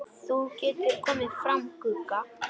Þú getur komið fram, Gugga!